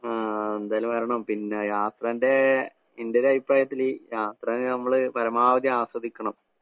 ആ എന്തായാലും വരണം. പിന്നെ യാത്രേന്‍റെ, എന്‍റെ ഒരുഅഭിപ്രായത്തില് യാത്ര നമ്മള് പരമാവധി ആസ്വദിക്കണം.